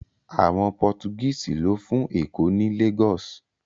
Àwọn Pọ́tugíìsì lọ́ fún Èkó ní Lagos